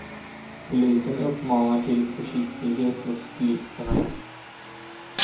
Polisen uppmanar till försiktighet hos bilisterna.